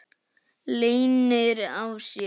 Leynir á sér!